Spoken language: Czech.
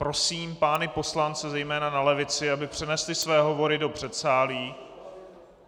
Prosím pány poslance, zejména na levici, aby přenesli své hovory do předsálí.